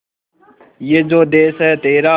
ये जो देस है तेरा